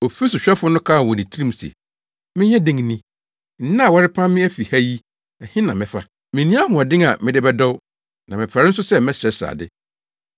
“Ofi sohwɛfo no kaa wɔ ne tirim se, ‘Menyɛ dɛn ni? Nnɛ a wɔrepam me afi fie ha yi, ɛhe na mɛfa? Minni ahoɔden a mede bɛdɔw, na mefɛre nso sɛ mɛsrɛsrɛ ade.